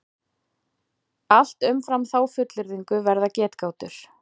Allt umfram þá fullyrðingu verða getgátur.